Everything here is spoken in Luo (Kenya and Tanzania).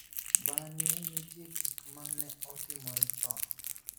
Bang�e, nitie gik ma ne otimore chon.